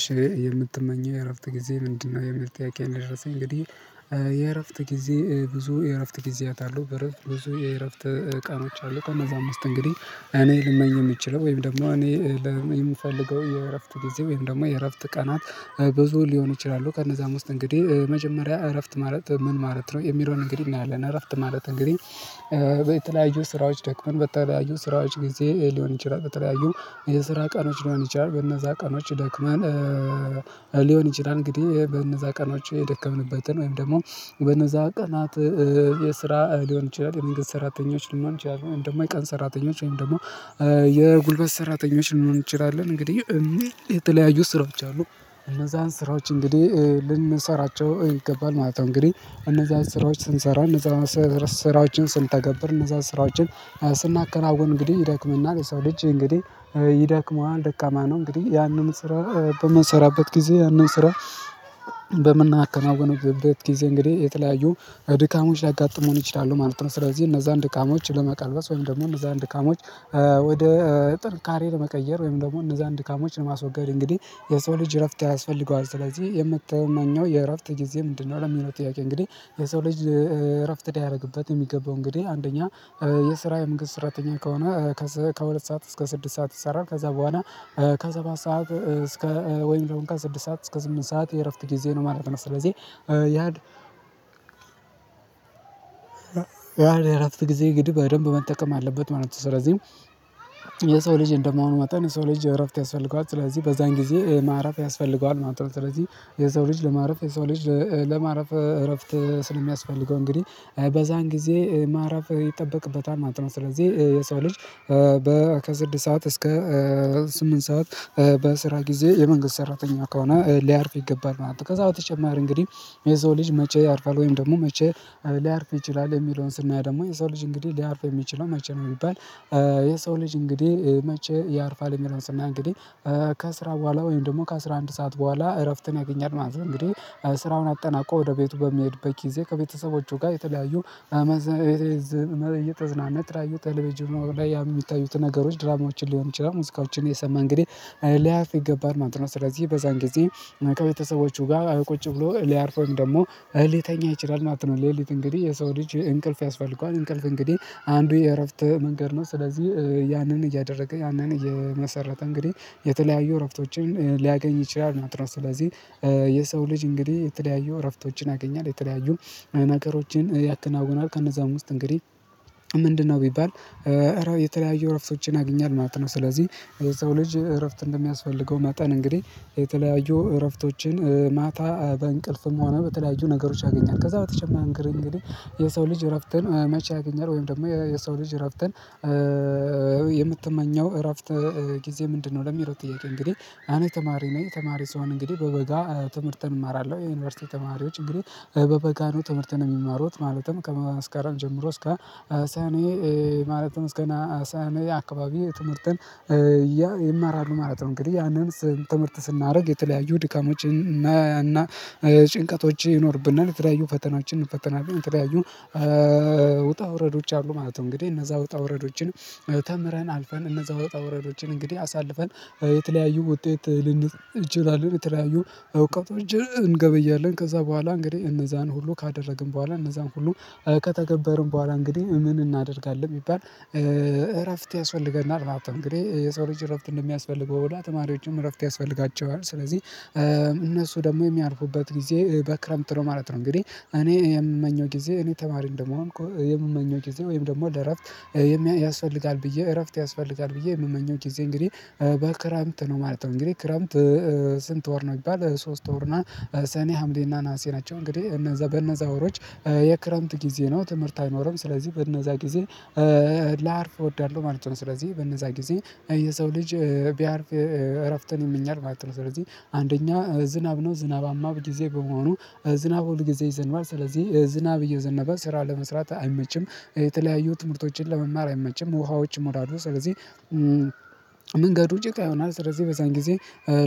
እሺ የምትመኘው የእረፍት ጊዜ ምንድነው የሚል ጥያቄ ነው? የደረሰኝ እንግዲህ የእረፍት ጊዜ ብዙ የእረፍት ጊዜያት አለው። በእረፍት ብዙ የእረፍት ቀኖች አሉ። ከእነዛ ዉስጥ እንግዲህ እኔ ልመኝ የምችለው ወይም ደግሞ እኔ የምፈልገው የእረፍት ጊዜ ወይም ደግሞ የእረፍት ቀናት ብዙ ሊሆን ይችላሉ። ከእነዛ ውስጥ እንግዲህ መጀመሪያ እረፍት ማረት ምን ማረት ነው የሚለውን እንግዲህ እናያለን። እረፍት ማለት እንግዲህ በተለያዩ ስራዎች ደክመን በተለያዩ ስራዎች ጊዜ ሊሆን ይችላል። በተለያዩ የስራ ቀኖች ሊሆን ይችላል በነዛ ቀኖች ደክማን ሊሆን ይችላል። እንግዲህ በነዛ ቀኖች የደከምንበትን ወይም ደግሞ በነዛ ቀናት የስራ ሊሆን ይችላል የመንገድ ሰራተኞች ሊሆን ይችላል እንደውም የቀን ሰራተኞች ወይም ደግሞ የጉልበት ሰራተኞች ሊሆን ይችላል እንግዲህ የሚል የተለያዩ ስራዎች አሉ። እነዛን ስራዎች እንግዲህ ልንሰራቸው ይገባል ማለት ነው። እንግዲህ እነዛን ስራዎች ስንሰራ እነዛን ስራዎችን ስንተገብር እነዛን ስራዎችን ስናከራውቅ እንግዲህ ይደክምናል የሰው ልጅ እንግዲህ ይደክመዋል ደካማ ነው። እንግዲህ ያንን ስራ በምንሰራበት ጊዜ ያንን ስራ በምናከማውንበት ጊዜ እንግዲህ የተለያዩ ድካሞች ሊያጋጥሙን ይችላሉ ማለት ነው። ስለዚህ እነዛን ድካሞች ለመቀልበስ ወይም ደግሞ እነዛን ድካሞች ወደ ጥንካሬ ለመቀየር ወይም ደግሞ እነዛን ድካሞችን ለማስወገድ እንግዲህ የሰው ልጅ እረፍት ያስፈልገዋል። ስለዚህ የምትመኘው የእረፍት ጊዜ ምንድነው? ለሚለው ጥያቄ እንግዲህ የሰው ልጅ እረፍት ያደረግበት የሚገባው እንግዲህ አንደኛ የስራ የመንግስት ስራተኛ ከሆነ ከሁለት ሰዓት እስከ ስድስት ሰዓት ይሰራል። ከዛ በኋላ ከሰባት ሰዓት እስከ ወይም ደግሞ እንካ ስድስት ሰዓት እስከ ስምንት ሰዓት የእረፍት ጊዜ ነው ማለት ነው። ስለዚህ ያ ያ ለአራት ጊዜ ግድ በደንብ መጠቀም አለበት ማለት ነው። ስለዚህ የሰው ልጅ እንደመሆኑ መጣን የሰው ልጅ እረፍት ያስፈልገዋል ስለዚህ በዛን ጊዜ ማረፍ ያስፈልገዋል ማለት ነው። ስለዚህ የሰው ልጅ ለማረፍ የሰው ልጅ ለማረፍ እረፍት ስለሚያስፈልገው እንግዲህ በዛን ጊዜ ማረፍ ይጠበቅበታል። ማጥናት ስለዚህ የሰው ልጅ በ ከስድስት ሰዓት እስከ ስምንት ሰዓት በስራ ጊዜ የመንግስት ሰራተኛ ከሆነ ሊያርፍ ይገባል ማለት ነው። ከዛ በተጨማር እንግዲህ የዛው ልጅ መቼ ያርፋል ወይም ደግሞ መቼ ሊያርፍ ይችላል። የሚለውን ስናያ ደግሞ የዛው ልጅ እንግዲህ ሊያርፍ የሚችለው መቼ ነው? የሚባል የሰው ልጅ እንግዲህ መቼ ያርፋል የሚለውስና እንግዲህ ከስራ በኋላ ወይም ደግሞ ከአስራ አንድ ሰዓት በኋላ እረፍትን ያገኛል ማለት ነው። እንግዲህ ስራውን አጠናቆ ወደ ቤቱ በሚሄድበት ጊዜ ከቤተሰቦቹ ጋር የተለያዩ እየተዝናነት ተለበጅም ጅብናው ላይ የሚታዩት ነገሮች ድራማዎችን ሊሆን ይችላል ሙስካዎችን የሰማ እንግዲህ ላያፍ ይገባል ማለት ነው። ስለዚህ በዛን ጊዜ ከቤተሰቦቹ ጋር ቁጭ ብሎ ሊያርፈው ወይም ደግሞ እሊተኛ ይችላል ማለት ነው። ሌሊት እንግዲህ የሰው ልጅ እንቅልፍ ያስፈልገዋል እንቅልፍ እንግዲህ አንዱ የእረፍት መንገድ ነው። ስለዚህ ያንን እያደረገ ያንን እየመሰረተ እንግዲህ የተለያዩ እረፍቶችን ሊያገኝ ይችላል። ናትራ ስለዚህ የሰው ልጅ እንግዲህ የተለያዩ እረፍቶችን ያገኛል። የተለያዩ ነገሮችን ያከናውናል ከነዛም ውስጥ እንግዲህ ምንድነው ቢባል እረ የተለያዩ ረፍቶችን ያገኛል ማለት ነው። ስለዚህ የሰው ልጅ እረፍት እንደሚያስፈልገው ማጠን እንግዲህ የተለያዩ እረፍቶችን ማታ በእንቅልፍም ሆነ በተለያዩ ነገሮች ያገኛል። ከዛ በተጨማሪ እንግዲህ የሰው ልጅ እረፍትን መቼ ያገኛል። ወይም ደግሞ የሰው ልጅ እረፍተን የምትመኘው እረፍት ጊዜ ምንድነው? ለሚሮጥ ጥያቄ እንግዲህ አኔ ተማሪ ነኝ። ተማሪ ስሆን እንግዲህ በበጋ ትምህርተን እማራለሁ የዩኒቨርሲቲ ተማሪዎች እንግዲህ በበጋ ነው ትምህርተን የሚማሩት ማለትም ከመስካረም ጀምሮ እስከ አሳኔ ማለትም እስከና አሳያኔ አካባቢ ትምህርትን ያ ይማራሉ ማለት ነው። እንግዲህ ያንን ትምህርት ስናደርግ የተለያዩ ድካሞችን እና ጭንቀቶች ይኖርብናል። የተለያዩ ፈተናዎችን ፈተናልን የተለያዩ ውጣ ውረዶች አሉ ማለት ነው። እንግዲህ እነዛ ውጣ ውረዶችን ተምረን አልፈን እነዛ ወጣ ውረዶችን እንግዲህ አሳልፈን የተለያዩ ውጤት ልንጨርስ እንችላለን። የተለያዩ እውቀት እንገበያለን ከዛ በኋላ እንግዲህ እነዛን ሁሉ ካደረግን በኋላ እነዛን ሁሉ ከተገበርን በኋላ እንግዲህ ምን እናደርጋለን ቢባል እረፍት ያስፈልገናል። ማለት የሰው ልጅ እረፍት እንደሚያስፈልገው በላ ተማሪዎችም እረፍት ያስፈልጋቸዋል። ስለዚህ እነሱ ደግሞ የሚያርፉበት ጊዜ በክረምት ነው ማለት ነው። እንግዲህ እኔ የምመኘው ጊዜ እኔ ተማሪ እንደመሆን እኮ የምመኘው ጊዜ ወይም ደግሞ ለእረፍት ያስፈልጋል ብዬ እረፍት ያስፈልጋል ብዬ የምመኘው ጊዜ እንግዲህ በክረምት ነው ማለት ነው። እንግዲህ ክረምት ስንት ወር ነው? የሚባል ሶስት ወር ነው ሰኔ ሀምሌና ነሀሴ ናቸው። እንግዲህ በነዛ ወሮች የክረምት ጊዜ ነው ትምህርት አይኖርም። ስለዚህ በእነዛ ጊዜ ላርፍ እወዳለሁ ማለት ነው። ስለዚህ በእነዛ ጊዜ የሰው ልጅ ቢያርፍ እረፍትን ይመኛል ማለት ነው። ስለዚህ አንደኛ ዝናብ ነው ዝናባማ በጊዜ በመሆኑ ዝናብ ሁል ጊዜ ይዘንባል ስለዚህ ዝናብ እየዘነበ ስራ ለመስራት አይመችም። የተለያዩ ትምህርቶችን ለመማር አይመችም። ውሃዎች ሞራዱ ስለዚህ መንገዱ ጭቃ ይሆናል። ስለዚህ በዚያን ጊዜ